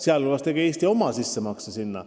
Sealhulgas tegi Eesti oma sissemakse sinna ära.